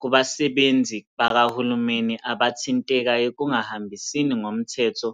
kubasebenzi bakahulumeni abathinteka ekungahambisini ngomthetho